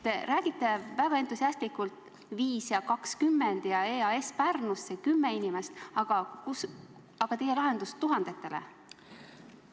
Te räägite väga entusiastlikult, et 5 ja 20 inimest vähemaks ja EAS Pärnusse – 10 inimest –, aga milline on teie lahendus tuhandetele?